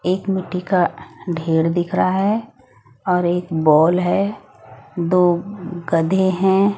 एक मिट्टी का ढेर दिख रहा है और एक बॉल है दो गधे है।